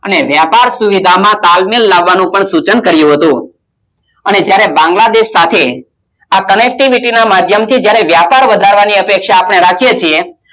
વ્યાપાર સુવિધા માં તાલમે લાવવાનું પણ સૂચન કરીયુ હતું. જયારે બાગ્લા દેશ સાથે Connectivity ના માધ્યમ થી જયારે વ્યાપાર કરવાની અપેક્ષા રાખીયે છીએ